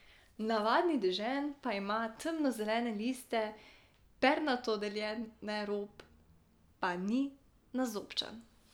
Navadni dežen pa ima temno zelene liste, pernato deljene, rob pa ni nazobčan.